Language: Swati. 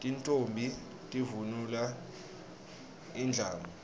tintfombi tivunula indlamu